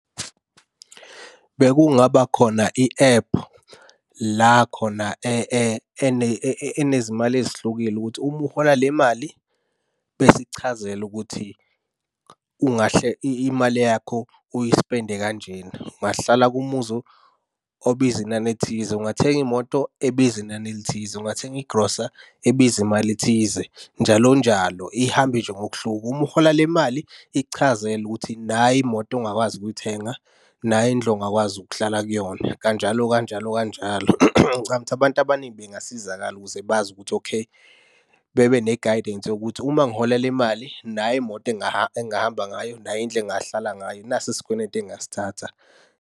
Bekungaba khona i-ephu, la khona enezimali ezihlukile ukuthi uma uhola le mali, besichazele ukuthi ungahle imali yakho uyispende kanjena. Ungahlala kumuzi obiza inani elithize. Ungathenga imoto ebiza inani elithize. Ungathenga igrosa ebiza imali ethize, njalo njalo. Ihambe nje ngokuhluka. Uma uhola le mali, ikuchazele ukuthi nayi imoto ongakwazi ukuyithenga. Nayi indlu ongakwazi ukuhlala kuyona, kanjalo kanjalo kanjalo. Ngicabanga ukuthi abantu abaningi bengasizakala ukuze bazi ukuthi okay, bebe ne-guidance yokuthi uma ngihola le mali, nayi imoto engingahamba ngayo, nayi indlu engingahlala ngayo, nasi isikwenetu engingasithatha.